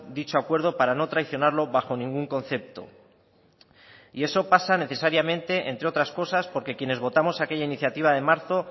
dicho acuerdo para no traicionarlo bajo ningún concepto y eso pasa necesariamente entre otras cosas porque quienes votamos aquella iniciativa de marzo